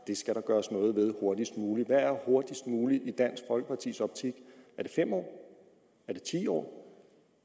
der skal gøres noget ved hurtigst muligt hvad er hurtigst muligt i dansk folkepartis optik er det fem år er det ti år